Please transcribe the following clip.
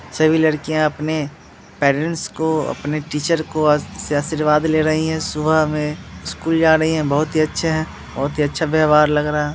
सभी लड़कियां अपने पेरेंट्स को अपने टीचर को आ से आशीर्वाद ले रही है सुबह में स्कूल जा रही है बहोत ही अच्छे हैं बहोत ही अच्छा व्यव्हार लग रहा --